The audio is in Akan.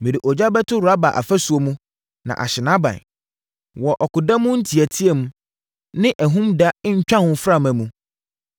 Mede ogya bɛto Raba afasuo mu na ahye nʼaban wɔ ɔko da mu nteateam ne ahum da ntwaho mframa mu.